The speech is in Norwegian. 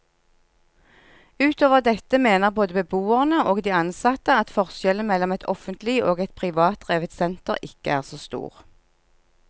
Utover dette mener både beboerne og de ansatte at forskjellen mellom et offentlig og et privatdrevet senter ikke er så stor.